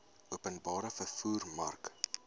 openbare vervoer mark